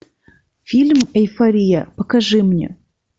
фильм эйфория покажи мне